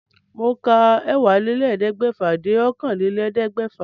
Mò ń ka ẹ́wàálélẹ́ẹ̀ẹ́dẹ́gbẹ́fà dé okòólélẹ́ẹ̀ẹ́dẹ́gbẹ́fà